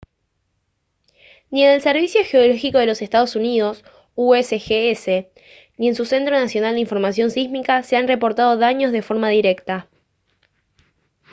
ni en el servicio geológico de los estados unidos usgs ni en su centro nacional de información sísmica se han reportado daños de forma directa